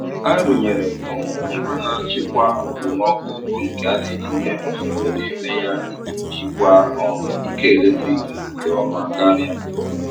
A rụnyere m um ngwa na-achịkwa okpomọkụ bụ nke a na etinye usoro n'ime ya iji jikwaa um ike eletrik nke ọma karịa.